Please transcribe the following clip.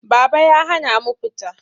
Baba ya hana mu fita.